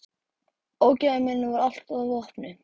Ógæfu minni varð allt að vopni.